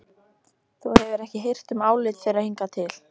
Þú hefur ekki hirt um álit þeirra hingað til.